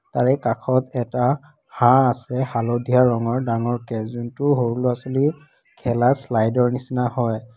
তাৰে কাষত এটা হাঁহ আছে হালধীয়া ৰঙৰ ডাঙৰ টো সৰু ল'ৰা ছোৱালীৰ খেলা শ্লাইডৰ নিচিনা হয়।